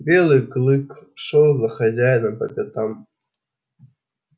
белый клык шёл за хозяином по пятам